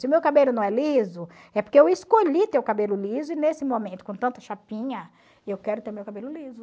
Se o meu cabelo não é liso, é porque eu escolhi ter o cabelo liso e nesse momento, com tanta chapinha, eu quero ter o meu cabelo liso.